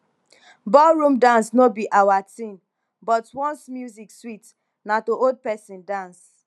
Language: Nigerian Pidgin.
ballroom dance no be our thing but once music sweet na to hold pesin dance